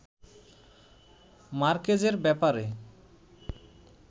মার্কেজের ব্যাপারে